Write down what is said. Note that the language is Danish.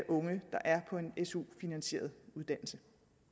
unge der er på en en su finansieret uddannelse